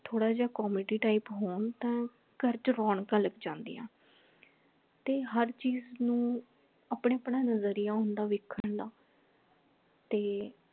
ਥੋੜਾ ਜਾ comedy type ਹੋਣ ਤਾਂ ਘਰ ਚ ਰੌਣਕਾਂ ਲਗ ਜਾਂਦੀਆਂ ਤੇ ਹਰ ਚੀਜ ਨ ਉ ਆਪਣਾ ਆਪਣਾ ਨਜ਼ਰੀਆ ਹੁੰਦਾ ਵੇਖਣ ਦਾ ਤੇ